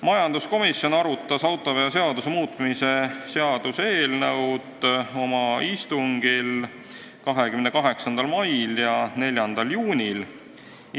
Majanduskomisjon arutas autoveoseaduse muutmise seaduse eelnõu oma 28. mai ja 4. juuni istungil.